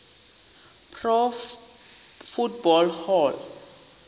pro football hall